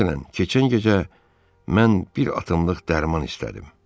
Məsələn, keçən gecə mən bir atımlıq dərman istədim.